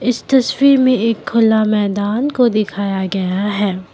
तस्वीर मे एक खुला मैदान को दिखाया गया है।